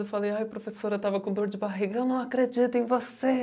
Eu falei, ai professora eu estava com dor de barriga, eu não acredito em você.